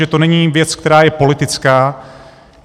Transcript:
Že to není věc, která je politická.